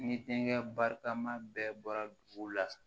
Ni denkɛ barikama bɛɛ bɔra dugu la